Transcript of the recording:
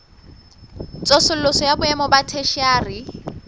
tsosoloso ya boemo ba theshiari